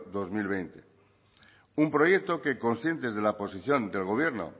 dos mil veinte un proyecto que conscientes de la posición del gobierno